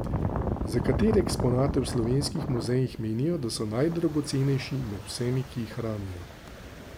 Za katere eksponate v slovenskih muzejih menijo, da so najdragocenejši med vsemi, ki jih hranijo?